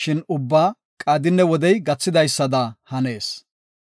Shin ubbaa qaadinne wodey gathidaysada hanees.